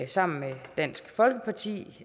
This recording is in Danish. sammen med dansk folkeparti